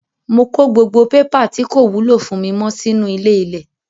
Mo kó gbogbo pépà tí kò wúlò fún mi mọ́ sínú ilé-ilẹ̀